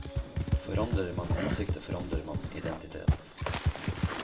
Forandrer man ansiktet forandrer man identitet.